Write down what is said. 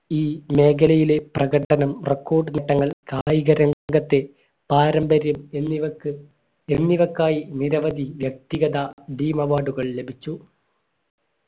ഈ മേഖലയിലെ പ്രകടനം record ഘട്ടങ്ങൾ കായിക രംഗത്തെ പാരമ്പര്യം എന്നിവയ്ക്ക് എന്നിവക്കായി നിരവധി വ്യക്തിഗത ഭീമ award കൾ ലഭിച്ചു